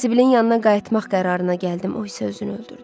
Sibildin yanına qayıtmaq qərarına gəldim, o isə özünü öldürdü.